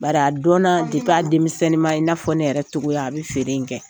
Bari a dɔnna a denmisɛnniman i n'a fɔ ne yɛrɛ cogoya, a bɛ feere in kɛ.